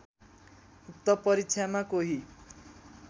उक्त परीक्षामा कोही